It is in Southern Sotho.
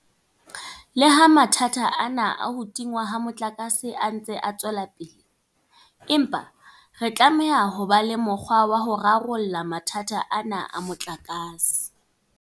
Leha mathata ana a ho tingwa ha motlakase a ntse a tswela pele, empa re tlameha ho ba le mokgwa wa ho rarolla mathata ana a motlakase.